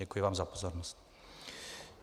Děkuji vám za pozornost.